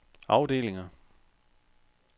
afdelinger